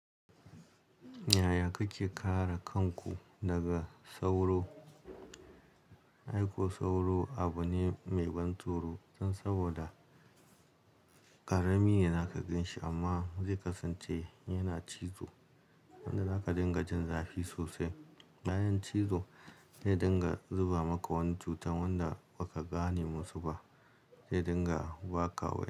Yaya kake kare kanku daga sauro? Aiko sauro abu ne mai ban tsoro dan saboda ƙarami ne za ka ganshi amma zai kasance yana cizo inda zaka dinga jin zafi sosai. Bayan cizo, zai dinga zuba maka wani cutan wanda ba ka gane musu ba. Zai dinga ba ka waki.